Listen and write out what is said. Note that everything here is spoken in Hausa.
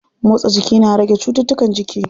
Motsa jiki na rage cuttutukan jiki.